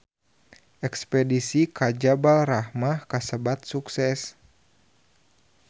Espedisi ka Jabal Rahmah kasebat sukses